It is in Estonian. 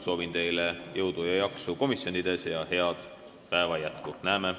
Soovin teile jõudu ja jaksu komisjonides ning head päeva jätku!